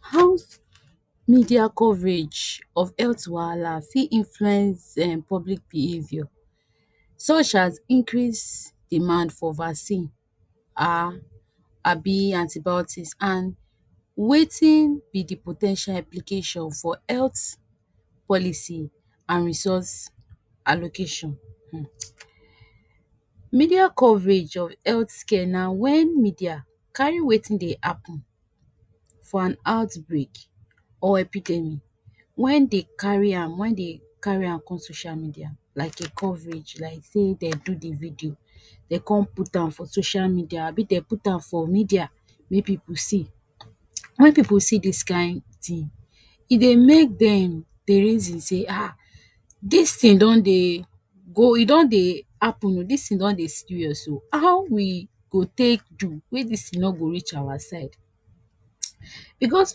House media coverage of health wahala fi influence Em public behavior such as increased demand for vaccine are abi antibiotics and wetin be the po ten tial implications for health policy and resource allocation? hm media coverage of health care na when media carry wetin dey happen for an outbreak or epidemi, when they carry am, when they carry am come social media like a coverage, like sey den do the video, they come put am for social media abi dem put am for media make pipu see. When pipu see dis kain thing e dey make them dey reason say ah ah dis thing don dey go, e don dey happen oo, dis thing don dey serious oo, how we go take do wey dis thing no go reach our side. Because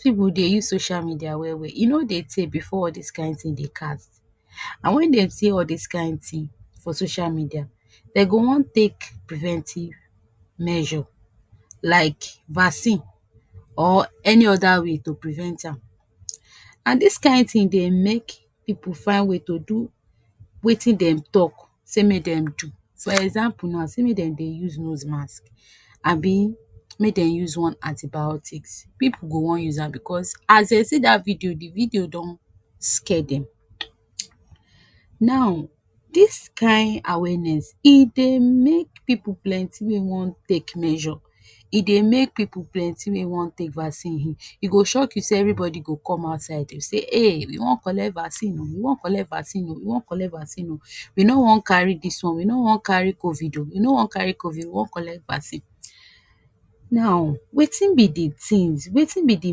pipu dey use social media well-well, e no dey tey before all dis kain thing dey cast, and when dem say all dis kain thing for social media, they go wan take preventive measure like vaccine or any other way to prevent am. And dis kain thing dey make pipu find way to do wetin dem talk say make dem do, for example now, say make dem dey use nose mask abi make dem use one antibiotics, pipu go wan use am because as dem see that video the video don scare them. Now dis kain awareness e dey make pipu plenty wey wan take measure, e dey make pipu plenty wey wan take vaccine, e go shock you say everybody go come outside to say Eh we wan collect vaccine oo, we wan collect vaccine oo, we wan collect vaccine oo, we no wan carry dis one, we no wan carry covid oo, we no wan carry covid we wan collect vaccine. Now wetin be the things, wetin be the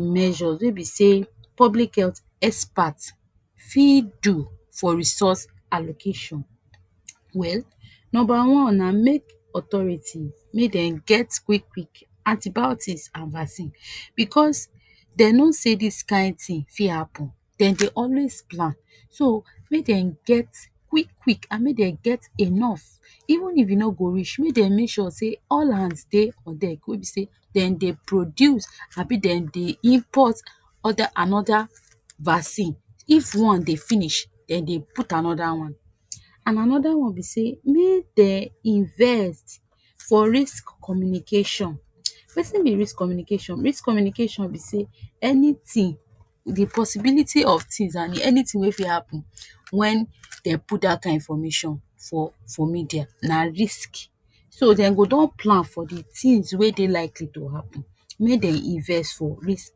measures wey be sey public health experts fi do resource allocation? Well number one na make authorities, make dem get quick-quick antibiotics and vaccines because they know sey dis kain thing fi happen, den dey always plan so make dem get quick-quick and make dem get enough even if e no go reach make dem make sure say all hands dey on deck wey be say dem dey produce abi den dey import other, another vaccine, if one dey finish den dey put another one. And another one be say make dem invest for risk communication, wetin be risk communication? Risk communication be say anything, the possibility of things, and anything wey fi happen when they put that kain information for media na risk, so den go don plan for the things wey dey likely to happen, make dem invest for risk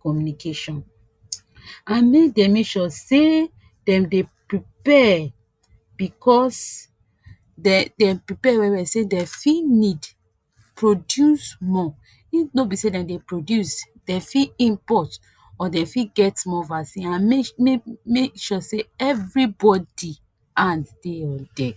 communication, and make dem make sure sey dem dey prepare because dey dem prepare well-well sey dem fi need produce more, if no be say dem dey produce, dem fi import or den fi get more vaccine, and make make make sure say everybody hands dey on deck.